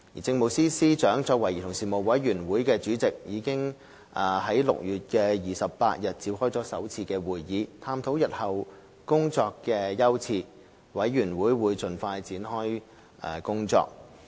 政務司司長作為委員會主席，已在6月28日召開首次會議，探討日後的工作優次，委員會將盡快展開工作。